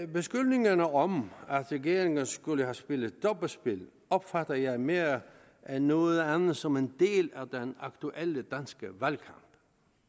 beskyldningerne om at regeringen skulle have spillet dobbeltspil opfatter jeg mere end noget andet som en del af den aktuelle danske valgkamp